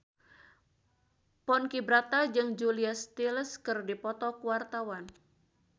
Ponky Brata jeung Julia Stiles keur dipoto ku wartawan